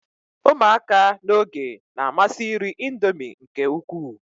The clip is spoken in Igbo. ụmụaka n'oge na-amasi iri Indomie nke ukwuu